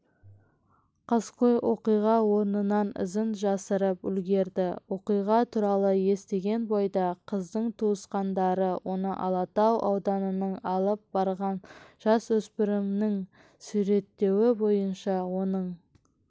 қаскөй оқиға орнынан ізін жасырып үлгерді оқиға туралы естіген бойда қыздың туысқандары оны алатау ауданының алып барған жасөспірімнің суреттеуі бойынша оның